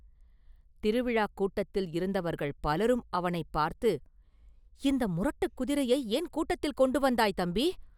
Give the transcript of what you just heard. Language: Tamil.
திருவிழாக் கூட்டத்தில் இருந்தவர்கள் பலரும் அவனைப் பார்த்து, “இந்த முரட்டுக் குதிரையை ஏன் கூட்டத்தில் கொண்டு வந்தாய், தம்பி!